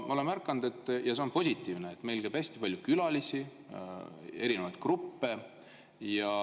Ma olen märganud – ja see on positiivne –, et meil käib hästi palju külalisi ja erinevaid gruppe.